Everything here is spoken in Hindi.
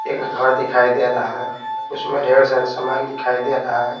एक घर दिखाई दे रहा है उसमें ढेर सारे सामान दिखाई दे रहा है।